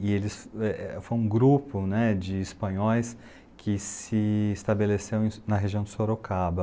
E eles eh eh foi um grupo né, de espanhóis que se estabeleceu na região do Sorocaba.